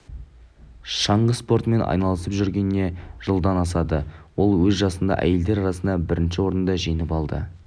шаңғы спортымен айналысып жүргеніне жылдан асады ол өз жасындағы әйелдер арасында бірінші орынды жеңіп алды